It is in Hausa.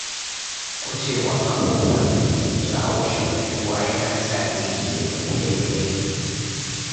Gujewa abubuwan da ke jawo shagaltuwa yana sa aiki ya fi tafiya daidai.